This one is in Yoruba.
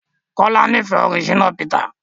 Kola n'ifẹ orin Shina Peter.